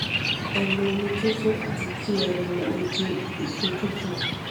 ẹ mu omi tó tó àti kí ẹ mu oje èso tútù